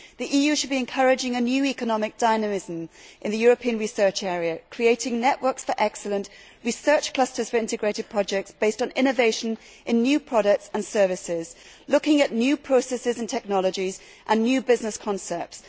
The EU should be encouraging a new economic dynamism in the European research area, creating networks for excellence, research clusters for integrated projects based on innovation in new products and services, looking at new processes and technologies and new business concepts.